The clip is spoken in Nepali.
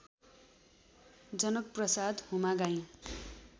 जनकप्रसाद हुमागाईँ